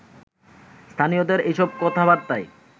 স্থানীয়দের এসব কথাবার্তায়